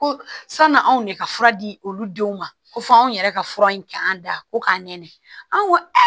Ko sanni anw ne ka fura di olu denw ma ko fɔ an yɛrɛ ka fura in k'an da ko k'an nɛni an ko aa